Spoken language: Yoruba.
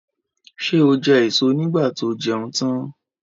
Ṣé ó jẹ èso nígbà tó jẹun tan?